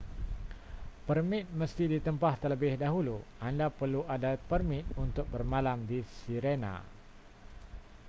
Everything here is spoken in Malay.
permit mesti ditempah terlebih dahulu anda perlu ada permit untuk bermalam di sirena